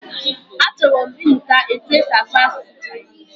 A chọrọ m ịmụta etu esi asụ asụsụ Chinese.